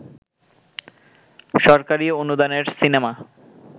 সরকারি অনুদানের সিনেমা